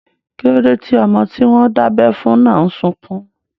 Kíló dé tí ọmọ tí wọ́n dábẹ́ fún náà n sọkún?